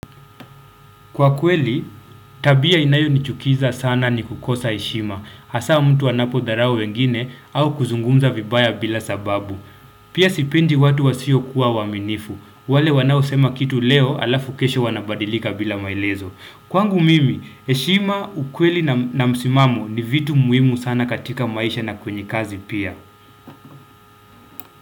Kwa kweli, tabia inayonichukiza sana ni kukosa heshima, hasa mtu anapodharao wengine au kuzungumza vibaya bila sababu. Pia sipendi watu wasiokuwa waaminifu, wale wanao sema kitu leo alafu kesho wanabadilika bila maelezo. Kwangu mimi, heshima, ukweli na msimamo ni vitu muhimu sana katika maisha na kwenye kazi pia.